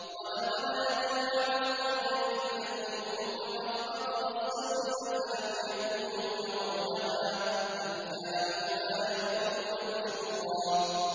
وَلَقَدْ أَتَوْا عَلَى الْقَرْيَةِ الَّتِي أُمْطِرَتْ مَطَرَ السَّوْءِ ۚ أَفَلَمْ يَكُونُوا يَرَوْنَهَا ۚ بَلْ كَانُوا لَا يَرْجُونَ نُشُورًا